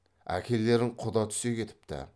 әкелерің құда түсе кетіпті